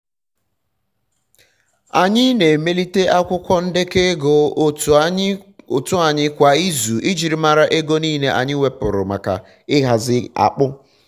anyị na-emelite akwụkwọ ndekọ ego otu anyị kwa ịzu ijiri mara ego nile anyi wepuru maka ị hazi akpụ